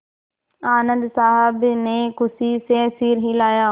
आनन्द साहब ने खुशी से सिर हिलाया